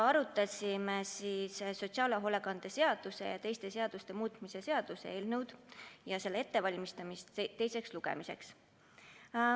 Arutasime sotsiaalhoolekande seaduse ja teiste seaduste muutmise seaduse eelnõu ja selle ettevalmistamist teiseks lugemiseks.